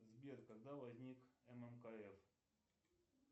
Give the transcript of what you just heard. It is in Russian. сбер когда возник ммкф